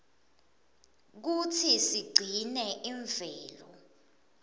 kutsi sigcine imvelo